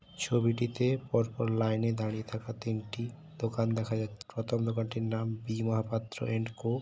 ছবিটিতে পরপর লাইনে দাঁড়িয়ে থাকা তিনটি দোকান দেখা যা। প্রথম দোকানটির নাম বি মহাপাত্র এন্ড কো ।